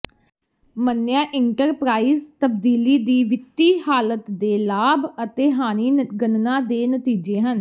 ਮੰਨਿਆ ਇੰਟਰਪਰਾਈਜ਼ ਤਬਦੀਲੀ ਦੀ ਵਿੱਤੀ ਹਾਲਤ ਦੇ ਲਾਭ ਅਤੇ ਹਾਨੀ ਗਣਨਾ ਦੇ ਨਤੀਜੇ ਹਨ